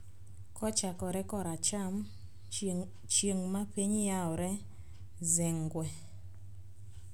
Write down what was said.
Kochakore koracham: Chieng' ma piny yawore, "Zengwe".